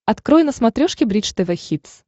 открой на смотрешке бридж тв хитс